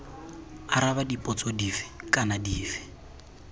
araba dipotso dife kana dife